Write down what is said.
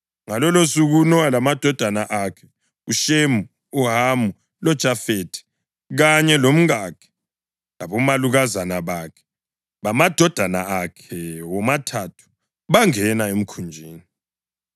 Ngalolosuku uNowa lamadodana akhe, uShemu, uHamu loJafethi, kanye lomkakhe labomalukazana bakhe bamadodana akhe womathathu bangena emkhunjini.